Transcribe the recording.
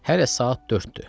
Hələ saat dörddür.